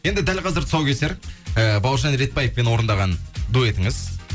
енді дәл қазір тұсаукесер ііі бауыржан ретбаевпен орындаған дуэтіңіз